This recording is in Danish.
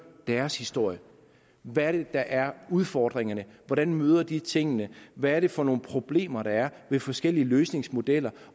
deres historie hvad er det der er udfordringerne hvordan møder de tingene hvad er det for nogle problemer der er ved forskellige løsningsmodeller